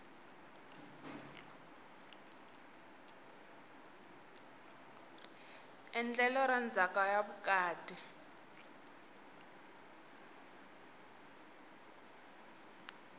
endlelo ra ndzhaka ya vukati